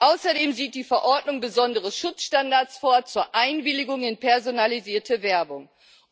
Außerdem sieht die Verordnung besondere Schutzstandards zur Einwilligung in personalisierte Werbung vor.